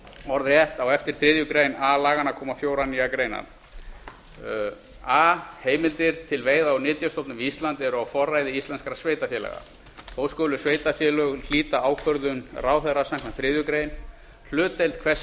orðrétt á eftir þriðju grein a laganna koma fjórar nýjar greinar þriðju grein a til þriðju grein d svohljóðandi a heimildir til veiða úr nytjastofnum við ísland eru á forræði íslenskra sveitarfélaga þó skulu sveitarfélög hlíta ákvörðun ráðherra samkvæmt þriðju grein hlutdeild hvers